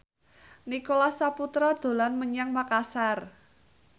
Nicholas Saputra dolan menyang Makasar